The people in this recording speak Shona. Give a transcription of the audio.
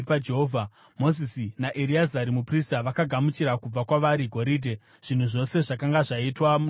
Mozisi naEreazari muprista vakagamuchira kubva kwavari goridhe, zvinhu zvose zvakanga zvakaitwa noumhizha.